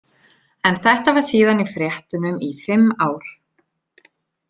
En þetta var síðan í fréttunum í fimm ár.